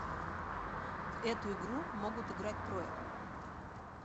в эту игру могут играть трое